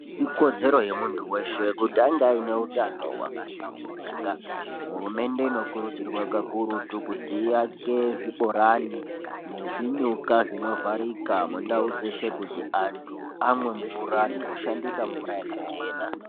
Ikodzero yemuntu weshe kuti ange aine hutano hwakahlamburika. Hurumende inokurudzirwa kakurutu kuti iyake zvibhorani nezvinyuka zvinovharika mundau dzeshe kuti antu amwe mvura nekushandisa mvura yakachena.